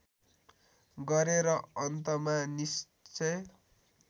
गरे र अन्तमा निश्चय